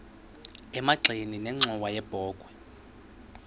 emagxeni nenxhowa yebokhwe